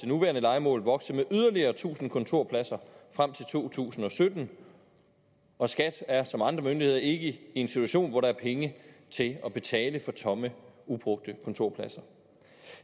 nuværende lejemål vokse med yderligere tusind kontorpladser frem til to tusind og sytten og skat er som andre myndigheder ikke i en situation hvor der er penge til at betale for tomme ubrugte kontorpladser